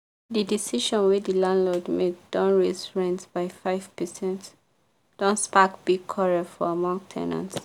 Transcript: the decision wey the landlord make don raise rent by five percent don spark big quarrel for among ten ants.